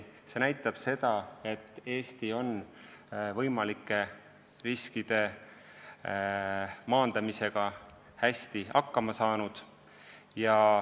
See näitab, et Eesti on võimalike riskide maandamisega hästi hakkama saanud.